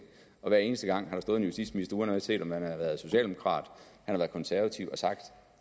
og hver eneste gang har der stået en justitsminister uanset om han har været socialdemokrat eller konservativ og sagt